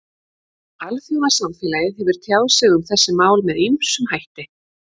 Alþjóðasamfélagið hefur tjáð sig um þessi mál með ýmsum hætti.